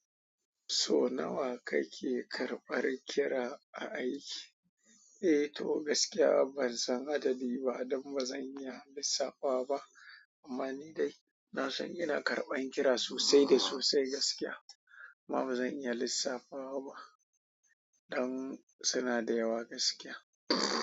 So nawa kake karɓan kira a aiki? Eh to gaskiya ban san adadi ba don ba zan iya lissafawa ba. Amma ni dai na san ina karɓan kira sosai da sosai gaskiya. Amma ba zan iya lissafawa ba don suna da yawa gaskiya.